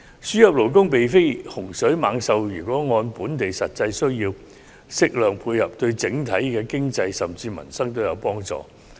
輸入勞工並非洪水猛獸，如能按本地實際需要，適量作出配合，對整體經濟甚至民生皆有幫助。